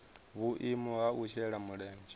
vhuimo ha u shela mulenzhe